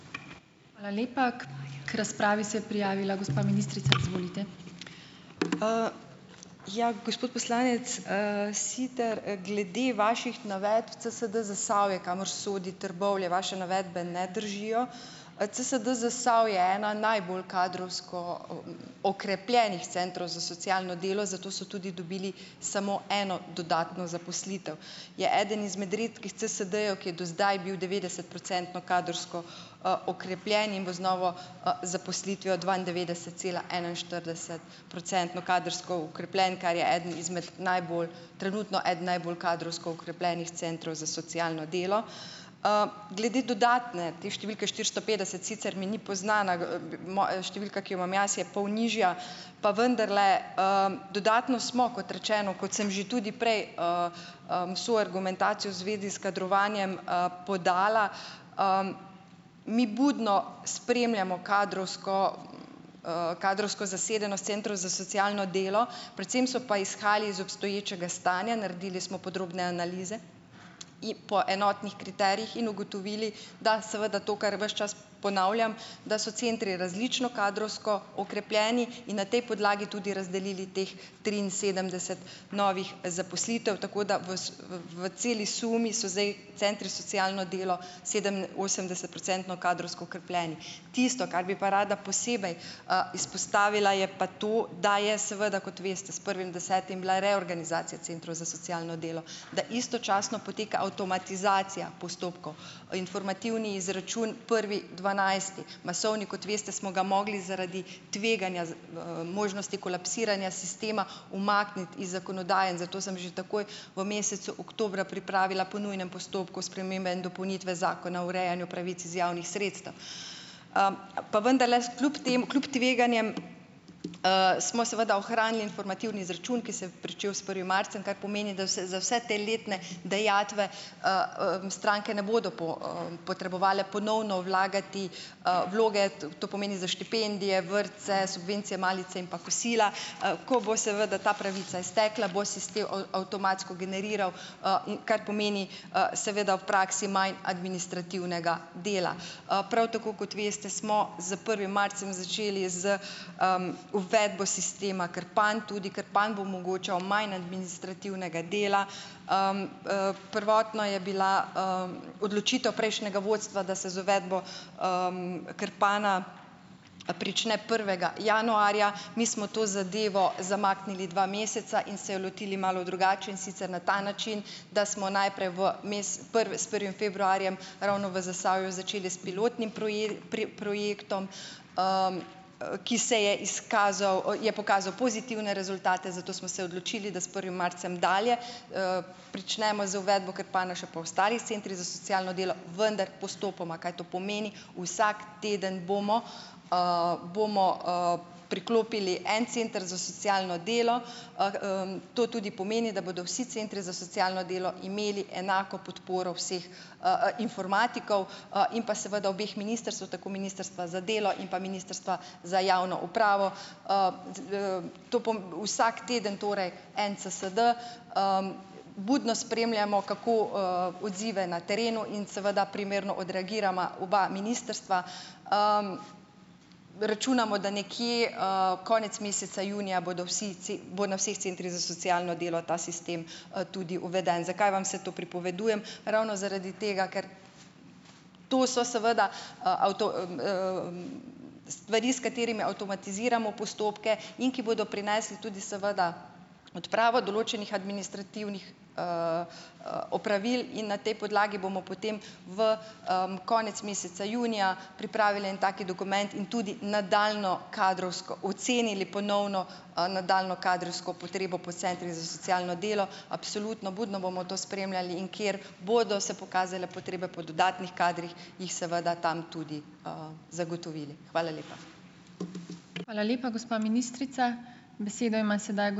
Ja, gospod poslanec Siter, glede vaših navedb CSD Zasavje, kamor sodi Trbovlje, vaše navedbe ne držijo. CSD Zasavje eden najbolj kadrovsko okrepljenih centrov za socialno delo, zato so tudi dobili samo eno dodatno zaposlitev. Je eden izmed redkih CSD-jev, ki je do zdaj bil devetdesetprocentno kadrovsko, okrepljen in bo z novo, zaposlitvijo dvaindevetdesetcelaenainštirideset- procentno kadrovsko okrepljen, kar je eden izmed najbolj, trenutno eden najbolj kadrovsko okrepljenih centrov za socialno delo. Glede dodatne, te številke štirsto petdeset, sicer mi ni poznana. Številka, ki jo imam jaz je pol nižja, pa vendarle, dodatno smo, kot rečeno, kot sem že tudi prej vso argumentacijo v zvezi s kadrovanjem podala, mi budno spremljamo kadrovsko kadrovsko zasedenost centrov za socialno delo, predvsem so pa izhajali iz obstoječega stanja, naredili smo podrobne analize po enotnih kriterijih in ugotovili, da seveda to, kar ves čas ponavljam, da so centri različno kadrovsko okrepljeni, in na tej podlagi tudi razdelili teh triinsedemdeset novih zaposlitev, tako da v v celi sumi so zdaj centri socialno delo sedeminosemdesetprocentno kadrovsko okrepljeni. Tisto, kar bi pa rada posebej, izpostavila, je pa to, da je seveda, kot veste, s prvim desetim bila reorganizacija centrov za socialno delo. Da istočasno poteka avtomatizacija postopkov, informativni izračun prvi dvanajsti, masovni, kot veste, smo ga mogli zaradi tveganja, možnosti kolapsiranja sistema umakniti iz zakonodaje in zato sem že takoj v mesecu oktobra pripravila po nujnem postopku spremembe in dopolnitve zakona o urejanju pravic iz javnih sredstev. Pa vendarle, kljub tem, kljub tveganjem, smo seveda ohranili informativni izračun, ki se je pričel s prvim marcem, kar pomeni, da se za vse te letne dajatve, stranke ne bodo potrebovale ponovno vlagati, vloge, to pomeni za štipendije, vrtce, subvencije, malice in pa kosila. Ko bo seveda ta pravica iztekla, bo sistem avtomatsko generiral, kar pomeni, seveda v praksi manj administrativnega dela. Prav tako, kot veste, smo z prvim marcem začeli z, uvedbo sistema Krpan. Tudi Krpan bo omogočal manj administrativnega dela. Prvotno je bila, odločitev prejšnjega vodstva, da se z uvedbo Krpana prične prvega januarja, mi smo to zadevo zamaknili dva meseca in se jo lotili malo drugače, in sicer na ta način, da smo najprej v s prvim februarjem ravno v Zasavju začeli s pilotnim projektom, ki se je izkazal, je pokazal pozitivne rezultate, zato smo se odločili, da s prvim marcem dalje pričnemo z uvedbo Krpana še po ostalih centrih za socialno delo, vendar postopoma. Kaj to pomeni? Vsak teden bomo priklopili en center za socialno delo, to tudi pomeni, da bodo vsi centri za socialno delo imeli enako podporo vseh informatikov, in pa seveda obeh ministrstev, tako Ministrstva za delo in pa Ministrstva za javno upravo. Vsak teden torej en CSD. Budno spremljamo, kako, odzive na terenu in seveda primerno odreagirava obe ministrstvi. Računamo, da nekje, konec meseca junija bodo vsi bo na vseh centrih za socialno delo ta sistem, tudi uveden. Zakaj vam vse to pripovedujem? Ravno zaradi tega, ker to so seveda stvari, s katerimi avtomatiziramo postopke in ki bodo prinesle tudi seveda odpravo določenih administrativnih opravil. In na tej podlagi bomo potem v, konec meseca junija pripravili en tak dokument in tudi nadaljnje kadrovsko ocenili ponovno, nadaljnjo kadrovsko potrebo po centrih za socialno delo. Absolutno, budno bomo to spremljali, in kjer bodo se pokazale potrebe po dodatnih kadrih, jih seveda tam tudi, zagotovili. Hvala lepa.